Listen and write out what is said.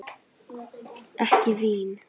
Ekki vín?